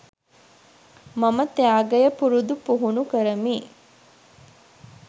මම ත්‍යාගය පුරුදු පුහුණු කරමි